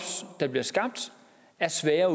der bliver skabt er svære at